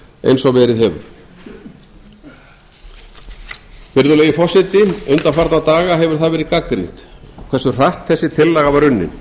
eins og verið hefur virðulegi forseti undanfarna daga hefur það verið gagnrýnt hversu hratt þessi tillaga var unnin